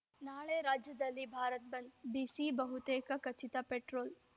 ನಾಳೆ ರಾಜ್ಯದಲ್ಲಿ ಭಾರತ್‌ ಬಂದ್‌ ಬಿಸಿ ಬಹುತೇಕ ಖಚಿತ ಪೆಟ್ರೋಲ್‌